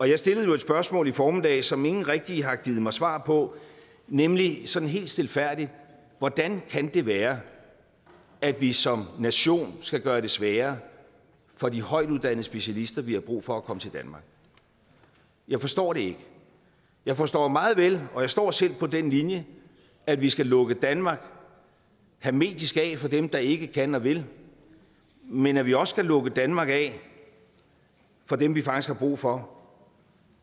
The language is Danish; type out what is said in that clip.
jeg stillede jo et spørgsmål i formiddags som ingen rigtig har givet mig svar på nemlig sådan helt stilfærdigt hvordan kan det være at vi som nation skal gøre det sværere for de højtuddannede specialister vi har brug for at komme til danmark jeg forstår det ikke jeg forstår meget vel og jeg står selv på den linje at vi skal lukke danmark hermetisk af for dem der ikke kan og vil men at vi også skal lukke danmark af for dem vi faktisk har brug for